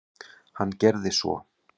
Hann gerði svo.